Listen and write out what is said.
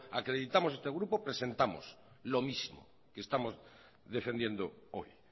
acreditamos este grupo presentamos lo mismo que estamos defendiendo hoy